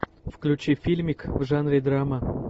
включи фильмик в жанре драма